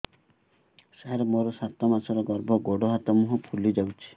ସାର ମୋର ସାତ ମାସର ଗର୍ଭ ଗୋଡ଼ ହାତ ମୁହଁ ଫୁଲି ଯାଉଛି